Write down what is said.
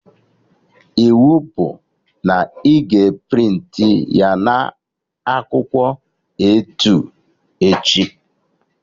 Iwu bụ na ị ga a prịntị ya na akwụkwọ A2 echi!